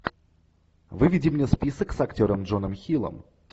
выведи мне список с актером джоном хиллом